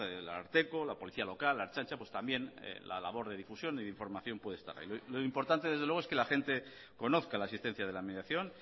el ararteko la policía local la ertzaintza pues también la labor de difusión o de información puede estar ahí lo importante desde luego es que la gente conozca la existencia de la mediación